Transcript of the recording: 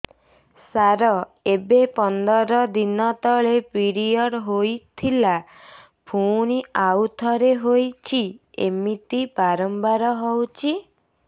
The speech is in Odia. ସାର ଏବେ ପନ୍ଦର ଦିନ ତଳେ ପିରିଅଡ଼ ହୋଇଥିଲା ପୁଣି ଆଉଥରେ ହୋଇଛି ଏମିତି ବାରମ୍ବାର ହଉଛି